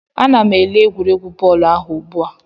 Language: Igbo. Ana m ele egwuregwu bọọlụ ahụ ugbu a